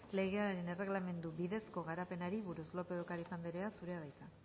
legearen erregelamendu bidezko garapenari buruz lópez de ocariz andrea zurea da hitza